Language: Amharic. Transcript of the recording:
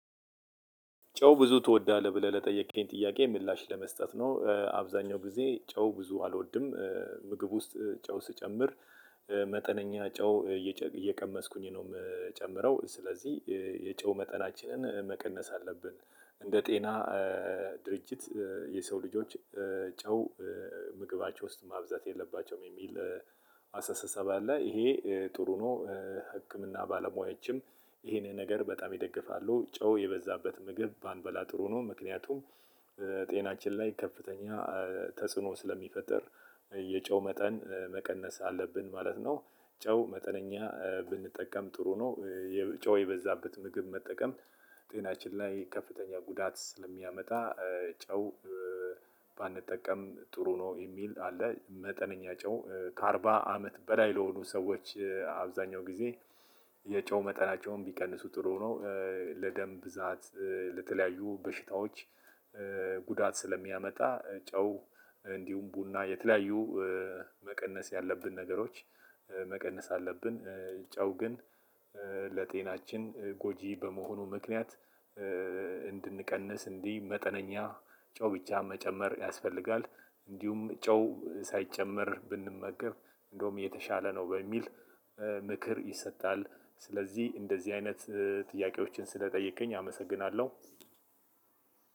ጨው ብዙ ትወዳለህ? ብለህ ለጠየቅከኝ ጥያቄ ምላሽ ለመስጠት ነው አብዛኛውን ጊዜ ጨው ብዙ አልወድም። ምግብ ውስጥ ጨው ስጨምር መጠነኛ ጨው እየቀመስኩኝ ነው የምጨምረው ስለዚህ የጨው መጠናችንን መቀነስ አለብን። እንደ ጤና ድርጅት የሰው ልጆች ጨው ምግባቸው ውስጥ ማብዛት የለባቸውም የሚል አስተሳሰብ አለ። ይሄ ጥሩ ነው። ህክምና ባለሙያዎችም ይሄንን ነገር በጣም ይደግፋሉ ጨው የበዛበት ምግብ ባንበላ ጥሩ ነው። ምክንያቱም ጤናችን ላይ ከፍተኛ ተጽዕኖ ስለሚፈጥር የጨው መጠን መቀነስ አለብን ማለት ነው። ጨው መጠነኛ ብንጠቀም ጥሩ ነው። ጨው የበዛበት ምግብ መጠቀም ጤናችን ላይ ከፍተኛ ጉዳት ስለሚያመጣ ጨው ባንጠቀም ጥሩ ነው የሚል አለ። መጠነኛ ጨው ከአርባ አመት በላይ ለሆኑ ሰዎች አብዛኛውን ጊዜ የጨው መጠናቸውን ቢቀንሱ ጥሩ ነው። ለደም ብዛት ለተለያዩ በሽታዎች ጉዳት ስለሚያመጣ። ጨው እንዲሁም ቡና የተለያዩ መቀነስ ያለብን ነገሮች መቀነስ አለብን። ጨው ግን ለጤናችን ጎጂ በመሆኑ ምክንያት። እንድንቀንስ እንዲህ መጠነኛ ጨው ብቻ መጨመር ያስፈልጋል። እንዲሁም ጨው ሳይጨመር ብንመገብ እንደውም የተሻለ ነው በሚል ምክር ይሰጣል። ስለዚህ እንደዚህ አይነት ጥያቄዎችን ስለጠየቅከኝ አመሰግናለሁ።